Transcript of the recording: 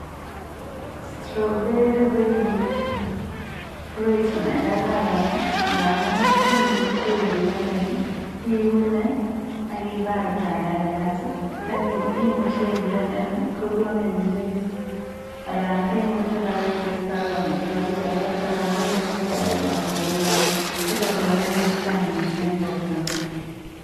strawbery ko lokoyat nekararan amun imuchi iblendan sokokonin juice ako much iteste amitwokik alak.